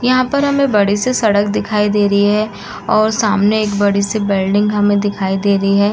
यहाँ पर हमे बड़े से सड़क दिखाई दे रही है और सामने एक बड़ी सी बिल्डिंग हमें दिखाई दे रही है।